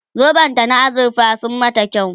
zoben ta na azurfa sun mata kyau